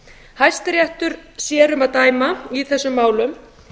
hæstiréttur sér um að dæma í þessum málum